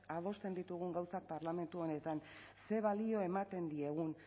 adosten ditugun gauzak parlamentu honetan zer balio ematen diegun